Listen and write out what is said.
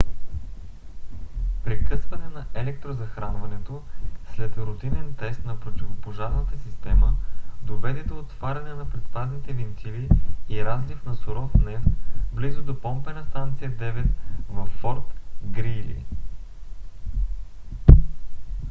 прекъсване на електрозахранването след рутинен тест на противопожарната система доведе до отваряне на предпазните вентили и разлив на суров нефт близо до помпена станция 9 във форт грийли